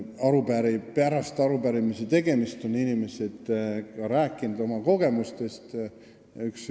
Ka veel pärast arupärimise esitamist on inimesed meile oma kogemustest rääkinud.